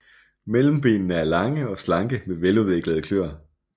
Mellembenene er lange og slanke med veludviklede kløer